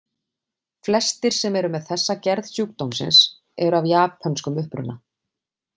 Flestir sem eru með þessa gerð sjúkdómsins eru af japönskum uppruna.